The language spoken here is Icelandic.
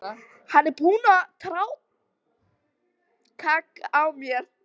Hann var búinn að traðka á mér.